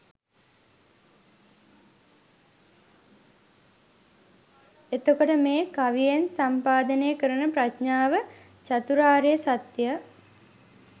එතකොට මේ කවියෙන් සම්පාදනය කරන ප්‍රඥාව චාතුරාර්ය සත්‍ය